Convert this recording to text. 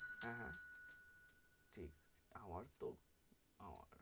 হ্যাঁ, হ্যাঁ ঠিক আছে, আমার তো আমার,